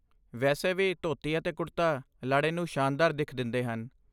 ਵੈਸੇ ਵੀ, ਧੋਤੀ ਅਤੇ ਕੁੜਤਾ ਲਾੜੇ ਨੂੰ ਸ਼ਾਨਦਾਰ ਦਿੱਖ ਦਿੰਦੇ ਹਨ।